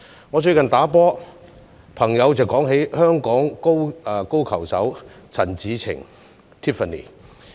我最近打球時，有朋友說起香港高爾夫球手陳芷澄。